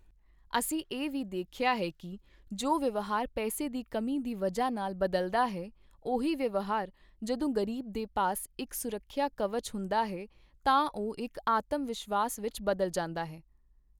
ਅਸੀਂ ਇਹ ਵੀ ਦੇਖਿਆ ਹੈ ਕਿ ਜੋ ਵਿਵਹਾਰ ਪੈਸੇ ਦੀ ਕਮੀ ਦੀ ਵਜ੍ਹਾ ਨਾਲ ਬਦਲਦਾ ਹੈ, ਉਹੀ ਵਿਵਹਾਰ ਜਦੋਂ ਗ਼ਰੀਬ ਦੇ ਪਾਸ ਇੱਕ ਸੁਰੱਖਿਆ ਕਵਚ ਹੁੰਦਾ ਹੈ, ਤਾਂ ਉਹ ਇੱਕ ਆਤਮਵਿਸ਼ਵਾਸ ਵਿੱਚ ਬਦਲ ਜਾਂਦਾ ਹੈ।